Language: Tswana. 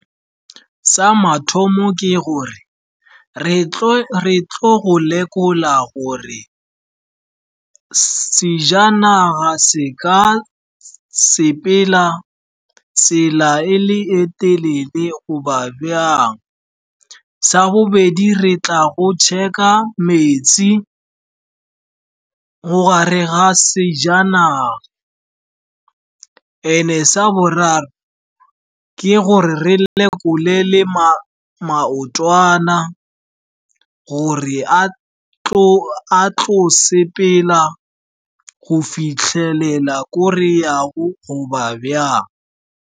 Sa mathomo ke gore re tlo go lekola gore sejanaga se ka sepela tsela e le e telele, goba bjang. Sa bobedi, re tla go check-a metsi mo gare ga sejanaga. And-e sa boraro ke gore re lekole le maotwana gore a tlo sepela go fitlhelela ko reyago goba bjang.